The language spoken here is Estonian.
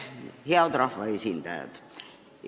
Head rahvaesindajad!